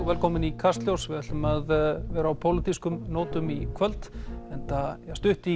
velkomin í Kastljós við ætlum að vera á pólitískum nótum í kvöld enda er stutt í